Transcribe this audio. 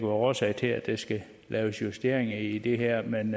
årsager til at der skal laves justeringer i det her men